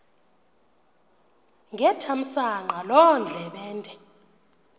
ngethamsanqa loo ndlebende